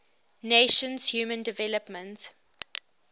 nations human development